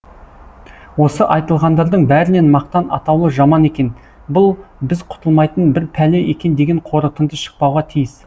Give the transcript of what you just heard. осы айтылғандардың бәрінен мақтан атаулы жаман екен бұл біз құтылмайтын бір пәле екен деген қорытынды шықпауға тиіс